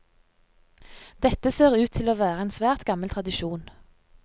Dette ser ut til å være en svært gammel tradisjon.